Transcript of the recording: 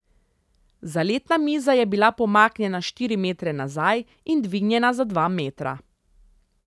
Zaletna miza je bila pomaknjena štiri metre nazaj in dvignjena za dva metra.